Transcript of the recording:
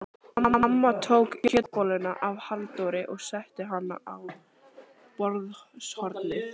Amma tók kjötbolluna af Halldóri og setti hana á borðshornið.